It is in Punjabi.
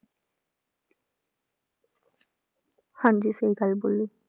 ਹਾਂਜੀ ਸਹੀ ਗੱਲ ਬੋਲੀ